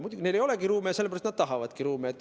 Muidugi, neil ei ole ruume ja sellepärast nad tahavadki ruume.